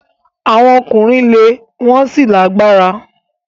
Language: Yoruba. Awọn ọkunrin jẹ le won si lalagbara